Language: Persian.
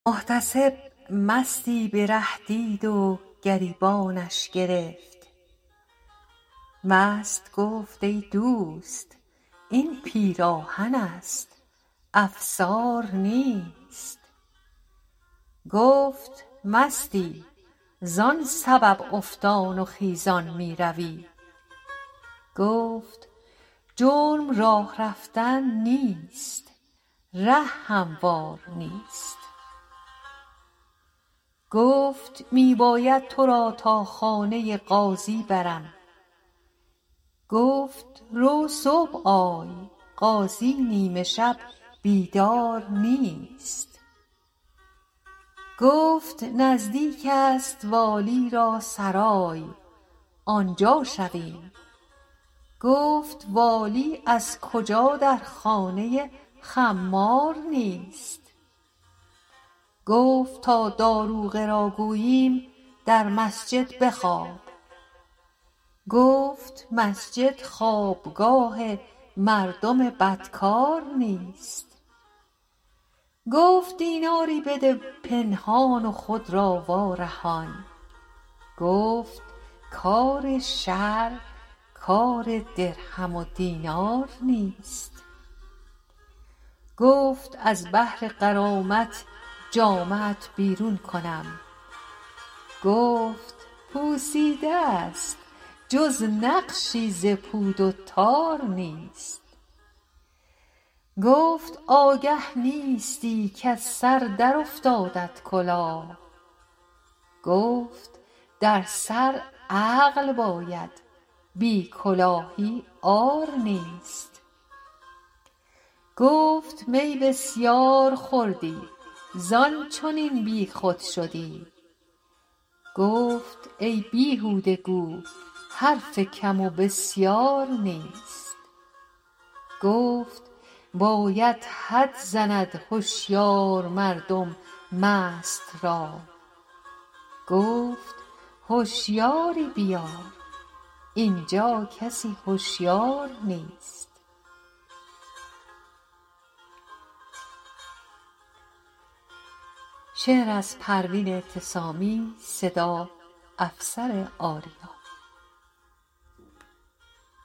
محتسب مستی به ره دید و گریبانش گرفت مست گفت ای دوست این پیراهن است افسار نیست گفت مستی زان سبب افتان و خیزان میروی گفت جرم راه رفتن نیست ره هموار نیست گفت می باید تو را تا خانه قاضی برم گفت رو صبح آی قاضی نیمه شب بیدار نیست گفت نزدیک است والی را سرای آنجا شویم گفت والی از کجا در خانه خمار نیست گفت تا داروغه را گوییم در مسجد بخواب گفت مسجد خوابگاه مردم بدکار نیست گفت دیناری بده پنهان و خود را وارهان گفت کار شرع کار درهم و دینار نیست گفت از بهر غرامت جامه ات بیرون کنم گفت پوسیده ست جز نقشی ز پود و تار نیست گفت آگه نیستی کز سر در افتادت کلاه گفت در سر عقل باید بی کلاهی عار نیست گفت می بسیار خوردی زان چنین بیخود شدی گفت ای بیهوده گو حرف کم و بسیار نیست گفت باید حد زند هشیار مردم مست را گفت هشیاری بیار اینجا کسی هشیار نیست